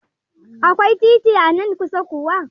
Akwai titi anan kusa kuwa?